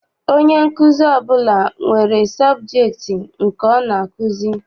Onye nkuzi ọbụla nwere sọbjektị nke ọ na-akụzi.